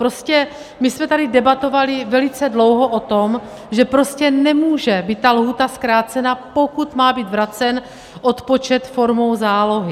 Prostě my jsme tady debatovali velice dlouho o tom, že prostě nemůže být ta lhůta zkrácena, pokud má být vracen odpočet formou zálohy.